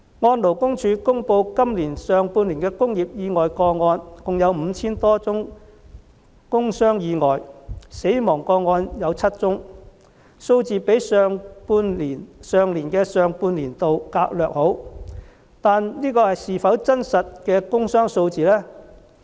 按勞工處公布的今年上半年工業意外個案，共有 5,000 多宗工傷意外和7宗死亡個案，數字較去年上半年略好，但這是否真實的工傷數字呢？